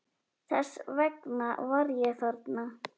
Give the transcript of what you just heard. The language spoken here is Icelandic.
Þess vegna var ég þarna.